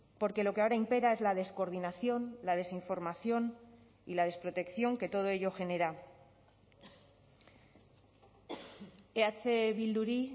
porque lo que ahora impera es la descoordinación la desinformación y la desprotección que todo ello genera eh bilduri